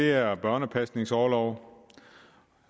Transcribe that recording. er børnepasningsorloven